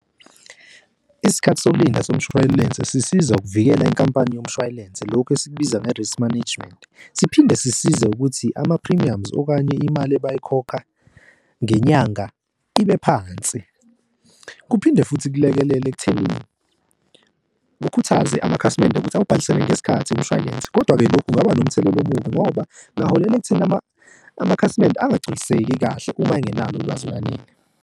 Isikhathi sokulinda somshwayelense sisiza ukuvikela inkampani yomshwayelense lokhu esikubiza nge-risk management. Siphinde sisize ukuthi ama-premiums okanye imali abayikhokha ngenyanga ibe phansi. Kuphinde futhi kulekelele ekuthenini kukhuthaze amakhasimende ukuthi awubhalisele ngesikhathi umshwalense, kodwa-ke lokhu kungaba nomthelela omubi ngoba kungaholela ekuthenini amakhasimende angagculiseki kahle uma angenalo ulwazi olwanele.